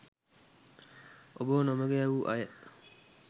ඔබව නොමඟ යැවූ අය